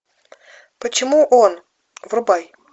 почему он врубай